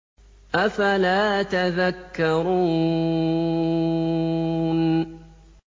أَفَلَا تَذَكَّرُونَ